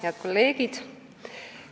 Head kolleegid!